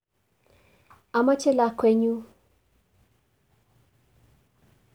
Omoche lakwenyun